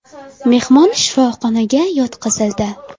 Mehmon shifoxonaga yotqizildi.